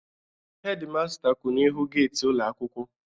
Hedi masta kwụ n'ihu geti ụlọ akwụkwọ